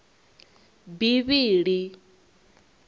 bivhili